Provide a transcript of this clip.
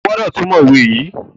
O gbódò túmọ òwe yí!